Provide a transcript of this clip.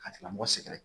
Ka tigilamɔgɔ sɛgɛrɛ